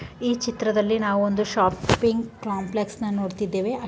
ಈ ಚಿತ್ರದಲ್ಲಿ ನಾವು ಒಂದು ಶಾಪಿಂಗ್ ಕಾಂಪ್ಲೆಕ್ಸ್ ನ ನೋಡ್ತಿದ್ದೇವೆ .